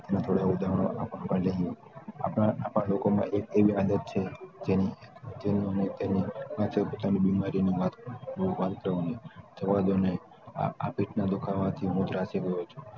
એમાં થોડા ઉધારણ આપના લોકો માં એક એવી આદત છે કે જેની હોય એની પોતાની બિમારી જવા દોને આ~આ પેટના ધુખાવતી